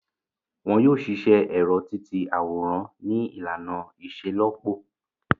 Wọn yoo ṣiṣẹ ẹrọ-ti-ti-aworan ni ilana iṣelọpọ